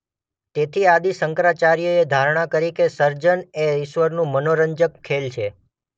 તેથી આદિ શંકરાચાર્યએ ધારણા કરી કે સર્જન એ ઇશ્વરનું મનોરંજન ખેલ છે.